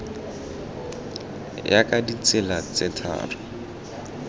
ya ka ditsela tse tharo